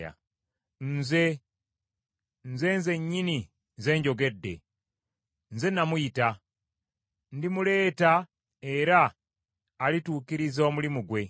Nze; Nze nzennyini nze njogedde. Nze namuyita. Ndimuleeta era alituukiriza omulimu gwe.